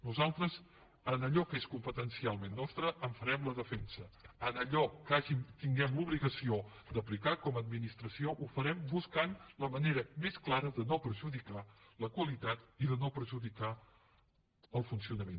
nosaltres d’allò que és competencialment nostre en farem la defensa en allò que tinguem l’obligació d’aplicar com a administració ho farem buscant la manera més clara de no perjudicar la qualitat i de no perjudicar el funcio nament